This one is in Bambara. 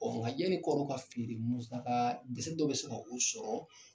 ŋa ɲani kɔrɔn ka fi de musakaa gese dɔ be se ka u sɔrɔ.